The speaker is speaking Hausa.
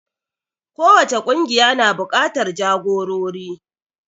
Kowace ƙungiya na buƙatar jagorori.